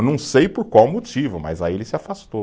Eu não sei por qual motivo, mas aí ele se afastou.